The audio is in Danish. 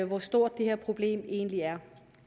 hvor stort det her problem egentlig er